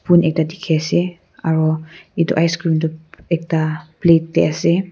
poon ekta dikhi ase aru etu icecream tu ekta plate teh ase.